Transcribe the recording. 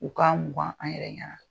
U ka mukan an yɛrɛ ɲɛna.